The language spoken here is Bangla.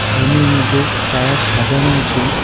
রুমের মধ্যে টায়ার সাজানো আছে .